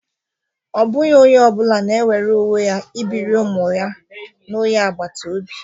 Ọ bụghị onye ọ bụla na-enwere onwe ya ibiri ụmụ ya na onye agbata obi